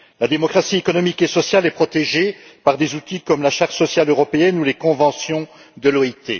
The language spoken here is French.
La démocratie économique et sociale est protégée par des outils comme la charte sociale européenne ou les conventions de l'OIT.